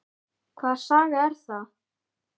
Hvaða saga er það?